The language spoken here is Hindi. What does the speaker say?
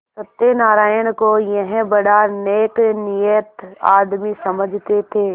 सत्यनाराण को यह बड़ा नेकनीयत आदमी समझते थे